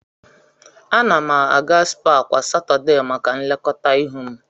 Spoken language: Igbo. Ana m aga spaa kwa Satọdee maka nlekọta ihu m.